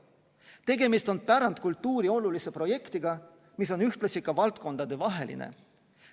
Tegemist on pärandkultuuri olulise projektiga, mis on ühtlasi ka valdkondadevaheline.